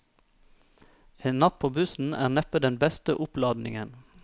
En natt på bussen er neppe den beste oppladningen.